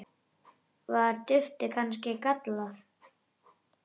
Var duftið kannski gallað?